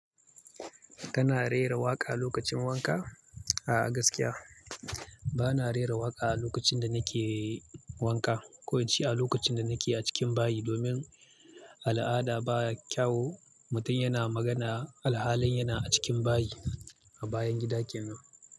Kana rera waƙa lokacin wanka? A'a gaskiya bana rera waƙa a lokacin da nake wanka, ko ince a lokacin da nake a cikin bayi domin al'ada ba kyau mutum yana magana alhalin yana a cikin bayi a bayan gida kenan.